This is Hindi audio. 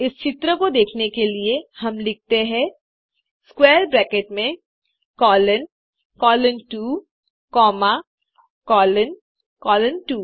इस चित्र को देखने के लिए हम लिखते हैं आई स्क्वैर ब्रैकेट में colon colon 2 comma colon colon 2